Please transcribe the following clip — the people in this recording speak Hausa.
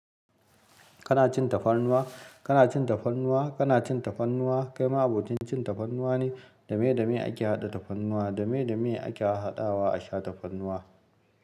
Kana cin tafarnuwa? Kana cin tafarnuwa? Kana cin tafarnuwa? Kai ma abokin cin tafarnuwa ne? Dame dame ake haɗa tafarnuwa. Dame dame ake haɗawa a sha tafarnuwa.